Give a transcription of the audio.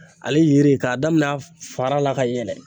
Ale yiri k'a damin'a fara la ka yɛlɛ